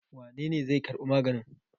Wane ne zai karbi magani?